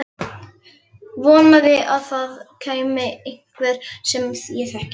Vonaði að það kæmi einhver sem ég þekkti.